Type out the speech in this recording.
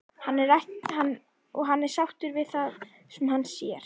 Og hann er sáttur við það sem hann sér.